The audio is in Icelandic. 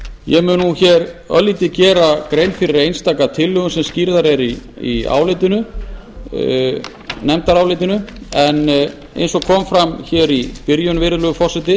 ég mun nú gera örlitla grein fyrir einstaka tillögum sem skýrðar eru í nefndarálitinu en eins og kom fram í byrjun virðulegi forseti